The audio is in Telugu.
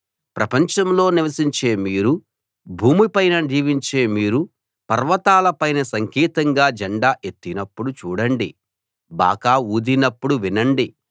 ప్రపంచంలో నివసించే మీరు భూమిపైన జీవించే మీరు పర్వతాల పైన సంకేతంగా జెండా ఎత్తినప్పుడు చూడండి బాకా ఊదినప్పుడు వినండి